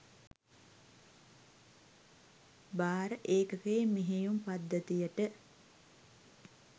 භාර ඒකකයේ මෙහෙයුම් පද්ධතියට